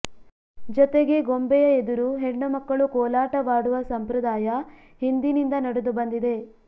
ಜೊತೆಗೆ ಗೊಂಬೆಯ ಎದುರು ಹೆಣ್ಣುಮಕ್ಕಳು ಕೋಲಾಟವಾಡುವ ಸಂಪ್ರದಾಯ ಹಿಂದಿನಿಂದ ನಡೆದು ಬಂದಿದೆ